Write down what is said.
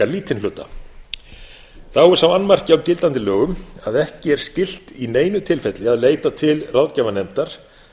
lítinn hluta þá er sá annmarki á gildandi lögum að ekki er skylt í neinu tilfelli að leita til ráðgjafa nefndar